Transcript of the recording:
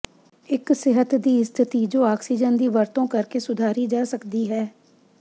ਇੱਕ ਸਿਹਤ ਦੀ ਸਥਿਤੀ ਜੋ ਆਕਸੀਜਨ ਦੀ ਵਰਤੋਂ ਕਰਕੇ ਸੁਧਾਰੀ ਜਾ ਸਕਦੀ ਹੈ